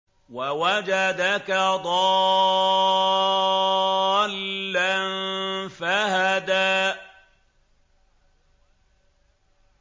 وَوَجَدَكَ ضَالًّا فَهَدَىٰ